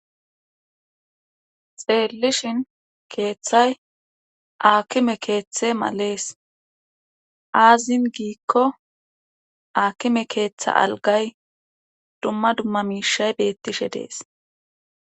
xeellishin keeththay aakime keeththe malees aazin giikko aakime keeththa algay dumma dumma miishay beettishe dees